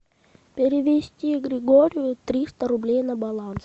перевести григорию триста рублей на баланс